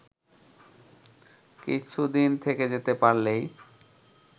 কিছুদিন থেকে যেতে পারলেই